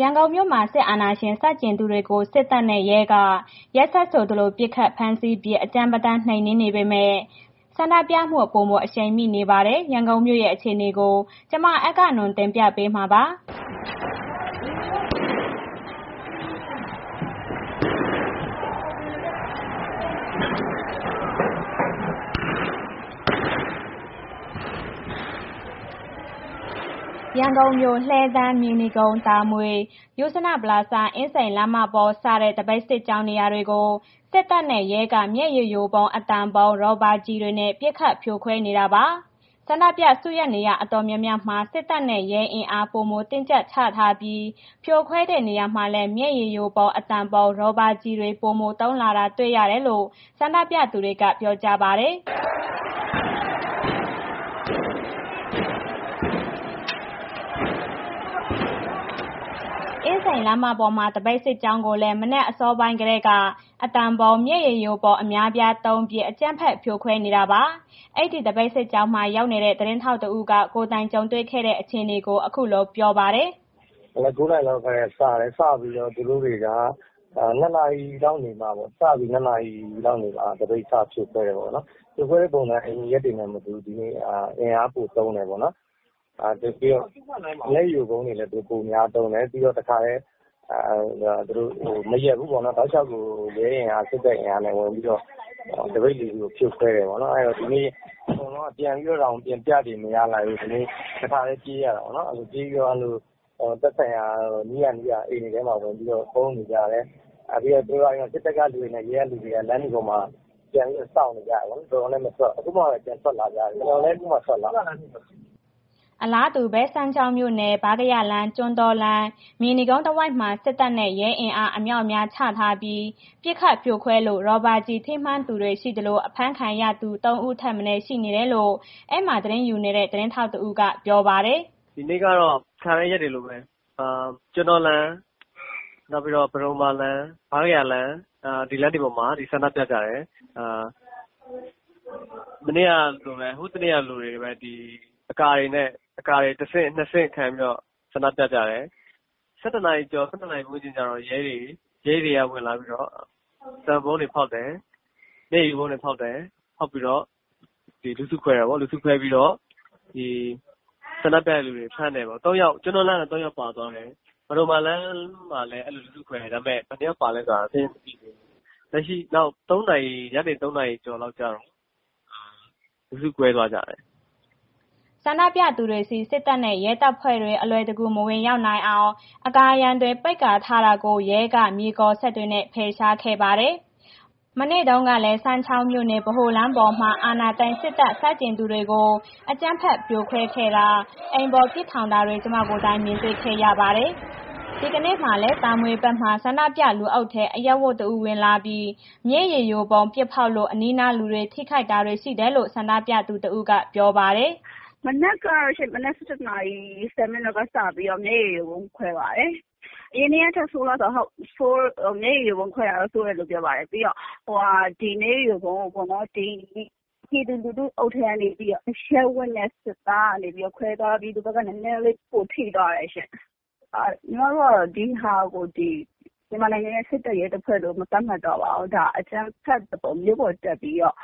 ရန်ကုန်မြို့မှာ စစ်အာဏာရှင်ဆန့်ကျင်သူတွေကို စစ်တပ်နဲ့ ရဲက ရက်ဆက်ဆိုသလို ပစ်ခတ် ဖမ်းဆီးပြီး အကြမ်းပတမ်းနှိမ်နင်းနေပေမဲ့ ဆန္ဒပြမှု ပိုမို အရှိန်မြင့်နေပါတယ်။ ရန်ကုန်ရဲ့ အခြေအနေကို ဗွီအိုအေမြန်မာပိုင်း သတင်းထောက် မအဂ္ဂနွန်က တင်ပြပေးမှာပါ။ ရန်ကုန်မြို့ လှည်းတန်း၊ မြေနီကုန်း၊ တာမွေ၊ ယုဇနပလာဇာ အင်းစိန်လမ်းမပေါ်စတဲ့ သပိတ်စစ်ကြောင်း နေရာတွေကို စစ်တပ်နဲ့ ရဲက မျက်ရည်ယိုဗုံး၊ အသံဗုံး၊ ရာဘာကျည်တွေနဲ့ ပစ်ခတ်ဖြိုခွဲနေတာပါ။ ဆန္ဒပြစုရပ်နေရာ အတော်များများမှာ စစ်တပ်နဲ့ ရဲအင်အား ပိုမိုတင်းကြပ်ထားချပြီး ဖြိုခွဲတဲ့နေရာမှာလည်း မျက်ရည်ယိုဗုံး၊ အသံဗုံး ရာဘာကျည်တွေ ပိုမိုသုံးလာတာ တွေ့ရတယ်လို့ ဆန္ဒပြသူတွေက ပြောကြပါတယ်။ အင်းစိန်လမ်းမက သပိတ်စစ်ကြောင်းကိုလည်း မနက်အစောပိုင်းကတည်းက အသံဗုံး၊ မျက်ရည်ယိုဗုံး အများအပြား သုံးပြီး အကြမ်းဖက်ဖြိုခွဲနေတာပါ။ အဲ့ဒီသပိတ်စစ်ကြောင်းမှာ ရောက်နေတဲ့ သတင်းထောက်တစ်ဦးက ကိုယ်တိုင်းကြုံတွေ့ခဲ့တဲ့ အခြေအနေကို အခုလိုပြောပါတယ်။ “မနက် ၉ နာရီလောက်က စတယ်၊ စပြီးတော့ သူတို့တွေက ၂ နာရီလောက်နေမှပေါ့... စပြီး ၂ နာရီလောက်နေမှ သပိတ်စဖြိုခွဲတယ်ပေါ့နော်။ ဖြိုခွဲတဲ့ ပုံစံက အရင်ရက်တွေကနဲ့ မတူဘဲ ဒီနေ့ အင်အားပိုသုံးတယ်ပေါ့နော်။ မျက်ရည်ယိုဗုံးတွေလည်း ပိုများသုံးတယ်။ ပြီးတော့ တစ်ခါတည်း သူတို့မရပ်ဘူးပေါ့နော်... တောက်လျှောက်ကို ရဲအင်အား စစ်တပ်အင်အားနဲ့ ဝင်ပြီးတော့ သပိတ်တွေကို ဖြိုခွဲတယ်ပေါ့နော်။ ဒီနေ့အကုန်လုံးက ပြန်ပြီးတော့တောင် ဆန္ဒပြန်ပြချိန် မရလိုက်ဘူး။ တစ်ခါတည်း ပြေးလိုက်ရတယ်ပေါ့နော်။ ပြေးပြီးသွားလို့ သက်ဆိုင်ရာ နီးရာနီးရာအိမ်တွေထဲမှာ ပုန်းနေကြတယ်။ ပြီးတော့ အဲ့ဒီစစ်သားကလူတွေ၊ ရဲက လူတွေနဲ့ လမ်းတွေပေါ်မှာ ပြန်ပြီးတော့ စောင့်နေကြတယ်ပေ့ါနော်။ အခုမှာပဲပြန်ထွက်လာကြတယ်။ ကျနော်လည်း အခုမှထွက်လာရတယ်။” အလာတူပဲ စမ်းချောင်းမြို့နယ်၊ ဗားကရာလမ်း၊ ကျွန်းတောလမ်း၊ မြေနီကုန်းတစ်ဝိုက်မှာ စစ်တပ်နဲ့ ရဲအင်အား အမြောက်အများချထားပြီး ပစ်ခတ်ဖြိုခွင်းလို့ ရာဘာကျည် ထိမှန်သူတွေရှိသလို အဖမ်းခံရသူ ၃ ဦးထက်မနည်း ရှိနေတယ်လို့ အဲ့ဒီမှာ သတင်းယူနေတဲ့ သတင်းထောက်တဦးက ပြောပါတယ်။ “ဒီနေ့ကတော့ အခါတိုင်းရက်တွေလိုပဲ ကျွန်းတောလမ်း၊ ပဒုမ္မာလမ်း၊ ဗားကရာလမ်း၊ ဒီလမ်းတွေပေါ်မှာ ဆန္ဒပြကြတယ်။ မနေ့ကလိုပဲ၊ ဟိုတစ်နေ့ကလိုပဲ အကာတွေနဲ့ အကာတွေ တဆင့်၊ နှစ်ဆင့်ခံပြီးတော့ ဆန္ဒပြကြတယ်။ ၁၁ နာရီကျော်၊ ၁၁ နာရီဝန်းကျင်ကျတော့ ရဲတွေက ဝင်လာပြီးတော့ အသံဗုံးတွေ ဖောက်တယ်။ မျက်ရည်ယိုဗုံးတွေ ဖောက်တယ်။ ဖောက်ပြီးတော့ လူစုခွဲတာပေါ့။ လူစုခွဲပြီးတော့ ဆန္ဒပြတဲ့ လူကို ဖမ်းတယ်။ ကျွန်းတောလမ်းက သုံးယောက်ပါသွားတယ်။ ပဒုမ္မာလမ်းမှာ အဲ့ဒီလို လူစုခွဲလိုက်တယ်။ ဒါပေမဲ့ ဘယ်နှယောက်ပါလည်းဆိုတာ စာရင်းမသိသေးဘူး။ ညနေ ၃ နာရီကျော်ကျော်လောက်ကျတော့ လူစုခွဲသွားကြတယ်။” ဆန္ဒပြသူတွေဆီ စစ်တပ်နဲ့ ရဲတပ်ဖွဲ့တွေ အလွယ်တကူ မဝင်ရောက်နိုင်အောင် အကာအရံတွေ ပိတ်ထားတာကို ရဲက မြေကော်စက်တွေနဲ့ ဖယ်ရှားခဲ့ပါတယ်။ မနေ့ကလည်း စမ်းချောင်းမြို့နယ် ဗဟိုလမ်းပေါ်မှာ အာဏာသိမ်း စစ်တပ်ဆန့်ကျင်သူတွေကို အကြမ်းဖက် ပစ်ခတ်ဖြိုခွဲတာ၊ အိမ်ပေါ်ထောင်ပစ်တာတွေ ကျမကိုယ်တိုင် မြင်တွေ့ခဲ့ရပါတယ်။ ဒီကနေ့မှာလည်း တာမွေဘက်က ဆန္ဒပြ လူအုပ်ထဲ အရပ်ဝတ်တစ်ဦး ဝင်လာပြီး မျက်ရည်ယိုဗုံး ပစ်ဖောက်လို့ အနီးအနားလူတွေ ထိခိုက်တာတွေ ရှိတယ်လို့ ဆန္ဒပြသူတစ်ဦးက ပြောပါတယ်။ “မနက်ကရှင် မနက် ၁၁ နာရီ ၁၀ မိနစ်က စပြီး မျက်ယိုရည်ဗုံးခွဲပါတယ်။ အရင်နေ့ကထက်ဆိုးလား ဟုတ်၊ မျက်ရည်ယိုဗုံးခွဲတာတော့ ဆိုးတယ်လို့ပြောတယ်။ ပြီးတော့ ဒီနေ့ မျက်ရည်ယိုဗုံးကိုပေါ့နော်.. လူစုအုပ်ထဲကနေပြီးတော့ အရပ်ဝတ်နဲ့ စစ်သားကနေပြီးတော့ ခွဲသွားပြီး ဒီဘက်က နည်းနည်းလေး ပိုထိသွားတယ်ရှင်။ ညီမတို့က ဒီဟာကို မြန်မာနိုင်ငံရဲ့ စစ်တပ်၊ ရဲတပ်ဖွဲ့လို့ မသတ်မှတ်တော့ပါဘူး၊ ဒါအကြမ်းဖက်သဘော မြို့ပေါ်တက်ပြီးတော့